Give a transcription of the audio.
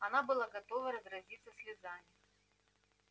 она была готова разразиться слезами